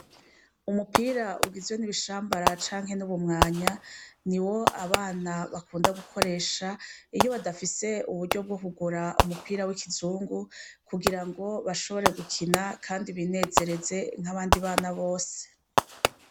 Umupira ugizwe n'ibishambara canke n'ubumwanya ni wo abana bakunda gukoresha iyo badafise uburyo bwo kugura umupira w'ikizungu kugira ngo bashobore gukina, kandi binezereze nk'abandi bana bose.